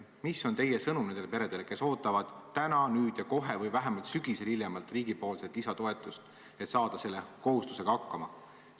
Mis on teie sõnum nendele peredele, kes ootavad täna, nüüd ja kohe või hiljemalt sügisel riigilt lisatoetust, et saada nende kohustustega hakkama?